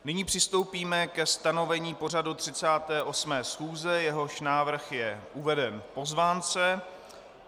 Nyní přistoupíme ke stanovení pořadu 38. schůze, jehož návrh je uveden v pozvánce.